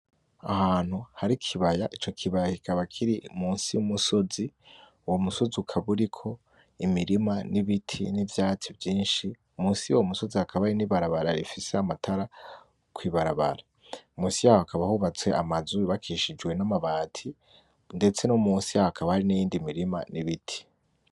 Ahantu hari ikibaya , ico kibaya kikaba kiri munsi y'umusozi, uwo musozi ukaba uriko imirima n'ibiti, n'ivyatsi vyinshi munsi yuwo musozi hakaba hari n'ibarabara rifise amatara kw'ibarabara, munsi yaho hakaba hubatse amazu y'ubakishijwe n'amabati ndetse no munsi yaho hakaba hari n'iyindi mirima n'ibiti.